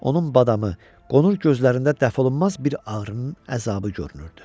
Onun badamı, qonur gözlərində dəf olunmaz bir ağrının əzabı görünürdü.